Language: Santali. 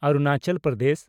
ᱚᱨᱩᱱᱟᱪᱚᱞ ᱯᱨᱚᱫᱮᱥ